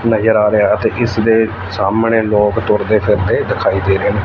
ਨਜ਼ਰ ਆ ਰਿਹਾ ਤੇ ਇਸ ਦੇ ਸਾਹਮਣੇ ਲੋਕ ਤੁਰਦੇ ਫਿਰਦੇ ਦਿਖਾਈ ਦੇ ਰਹੇ ਨੇ।